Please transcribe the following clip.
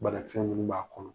Bana kisɛ ninnu b'a kɔnɔ